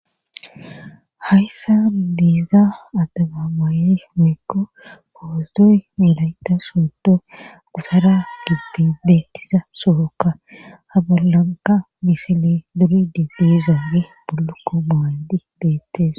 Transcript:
Hayssa diizda addagabaayey mikko koosdoy milayta soodo gutara gibbi beettiza sookka habaalanka misile duri dibdi zaagi bullukko maayndi beettees.